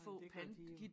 Nej det gør de jo